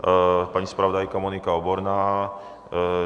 Paní zpravodajka Monika Oborná?